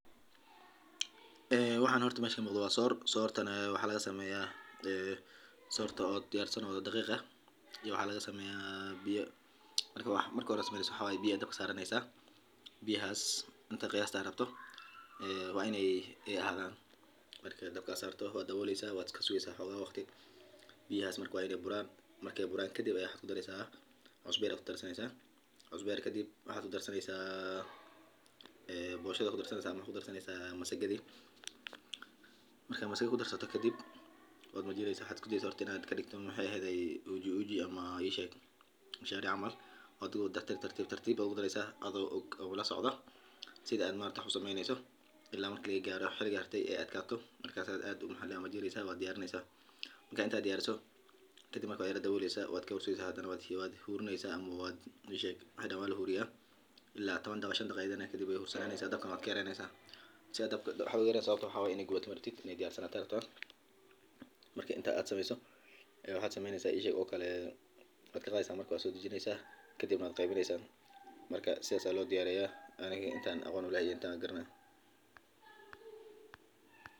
Waxan horta mesha muqda waa soor, soortana waxa laga sameyaa dhaqiq soor loo sameeyo, marka hore biyo ayaa la karkariyaa oo lagu shubaa digsi ama haan weyn. Marka biyaha ay karkaraan, burka galleyda ayaa si tartiib ah loogu daraa iyadoo si joogto ah loo walaaqayo, si aanay u samaynin xumbooyin ama dhag-dhag. Waxaa loo walaaqaa si xoog leh ilaa uu dhumuc yeesho, kuna ekaado mid aan biyaha lahayn, isla markaana aan adagayn. Marka uu dhamaado, waxaa lagu reebaa digsigii ama saxan weyn lagu shubaa. Soorta waxaa lagu cunaa suugo, digaag, khudaar, intan aqon u leyahay intan garanaya.